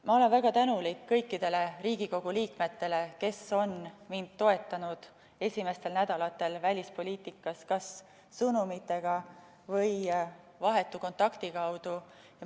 Ma olen väga tänulik kõikidele Riigikogu liikmetele, kes on mind toetanud esimestel nädalatel välispoliitikas kas sõnumite või vahetu kontakti kaudu.